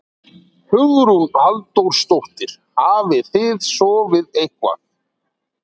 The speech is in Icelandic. Hugrún Halldórsdóttir: Hafið þið sofið eitthvað?